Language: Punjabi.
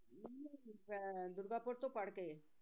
ਅਹ ਦੁਰਗਾਪੁਰ ਤੋਂ ਪੜ੍ਹ ਕੇ